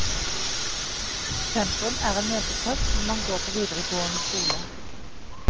Sentrum er en møteplass når man går på videregående skole.